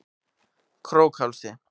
Krókhálsi